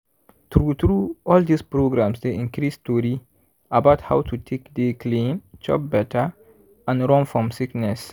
true true all dis programs dey increase tori about how to take dey clean chop better and run fom sickness.